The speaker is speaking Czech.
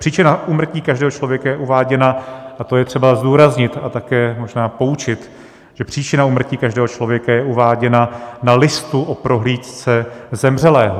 Příčina úmrtí každého člověka je uváděna - a to je třeba zdůraznit a také možná poučit - že příčina úmrtí každého člověka je uváděna na listu o prohlídce zemřelého.